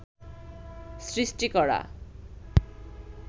সৃষ্টি করা